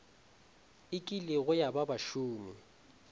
e kilego ya ba bašomi